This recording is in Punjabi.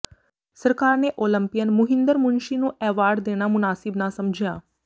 ਸਰਕਾਰ ਨੇ ਓਲੰਪੀਅਨ ਮੁਹਿੰਦਰ ਮੁਨਸ਼ੀ ਨੂੰ ਐਵਾਰਡ ਦੇਣਾ ਮੁਨਾਸਿਬ ਨਾ ਸਮਿਝਆ